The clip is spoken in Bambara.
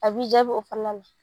A b'i jaabi o fana na.